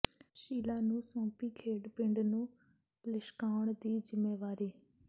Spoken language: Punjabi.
ਸ਼ੀਲਾ ਨੂੰ ਸੌਂਪੀ ਖੇਡ ਪਿੰਡ ਨੂੰ ਲਿਸ਼ਕਾਉਣ ਦੀ ਜ਼ਿੰਮੇਵਾਰੀ